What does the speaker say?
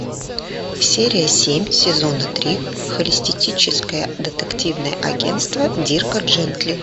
серия семь сезона три холистическое детективное агентство дирка джентли